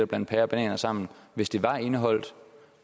blande pærer og bananer sammen hvis det var indeholdt